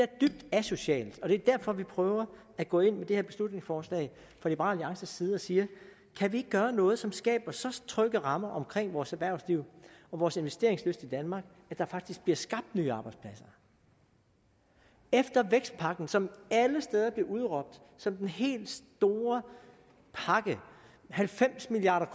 dybt asocialt og det er derfor vi prøver at gå ind med det her beslutningsforslag fra liberal alliances side og siger kan vi ikke gøre noget som skaber så trygge rammer omkring vores erhvervsliv og vores investeringslyst i danmark at der faktisk bliver skabt nye arbejdspladser efter vækstpakken som alle steder blev udråbt som den helt store pakke halvfems milliard